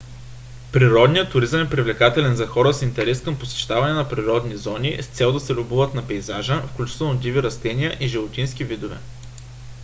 природният туризъм е привлекателен за хора с интерес към посещаване на природни зони с цел да се любуват на пейзажа включително диви растителни и животински видове